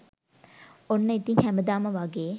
ඔන්න ඉතින් හැමදාම වගේ